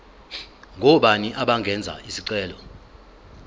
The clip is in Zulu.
ngobani abangenza isicelo